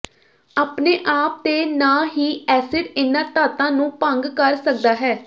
ਆਪਣੇ ਆਪ ਤੇ ਨਾ ਹੀ ਐਸਿਡ ਇਨ੍ਹਾਂ ਧਾਤਾਂ ਨੂੰ ਭੰਗ ਕਰ ਸਕਦਾ ਹੈ